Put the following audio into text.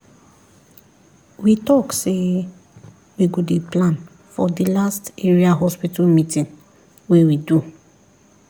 we talk say we go dey plan for the last area hospital meeting wey we do